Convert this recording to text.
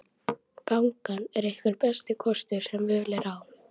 Gangan er einhver besti kostur sem völ er á.